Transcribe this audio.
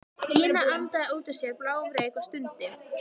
Gína andaði út úr sér bláum reyk og stundi.